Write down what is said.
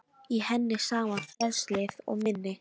Í henni sama frelsið og minni.